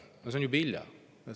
No nüüd on juba hilja.